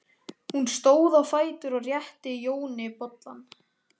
Hún stóð á fætur og rétti Jóni bollann.